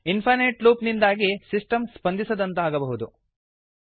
infinite loop ನಿಂದಾಗಿ system ಸ್ಪಂದಿಸದಂತಾಗಬಹುದು